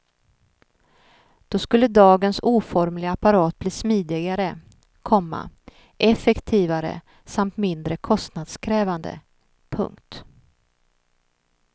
Då skulle dagens oformliga apparat bli smidigare, komma effektivare samt mindre kostnadskrävande. punkt